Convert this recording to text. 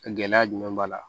Gɛlɛya jumɛn b'a la